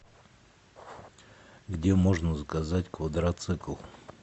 где можно заказать квадроцикл